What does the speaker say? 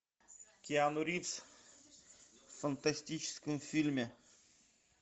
киану ривз в фантастическом фильме